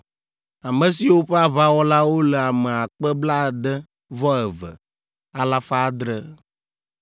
ame siwo ƒe aʋawɔlawo le ame akpe blaade-vɔ-eve, alafa adre (62,700).